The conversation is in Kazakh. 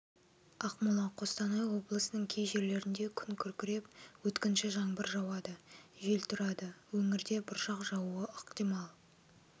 ақмола қостанай облысының кей жерлерінде күн күркіреп өткінші жаңбыр жауады жел тұрады өңірде бұршақ жаууы ықтимал